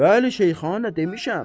Bəli Şeyxana demişəm.